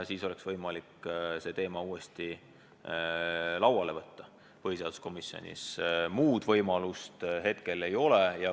Sel juhul oleks võimalik see teema põhiseaduskomisjonis uuesti lauale võtta, muud võimalust hetkel ei ole.